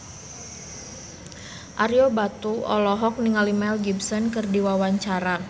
Ario Batu olohok ningali Mel Gibson keur diwawancara